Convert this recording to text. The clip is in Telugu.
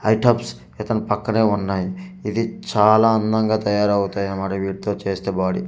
ఇతని పక్కనే ఉన్నాయి ఇది చాలా అందంగా తయారవుతాయి అనమాట వీటితో చేస్తే బాడీ .